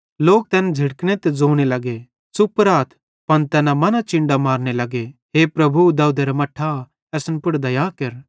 लोक तैन झ़िड़कने ते ज़ोने लग्गे कि च़ुप राथ पन तैना मना चिन्डां मारने लग्गे हे प्रभु दाऊदेरा मट्ठां असन पुड़ दया केर